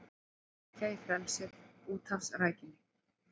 Sækja í frelsið í úthafsrækjunni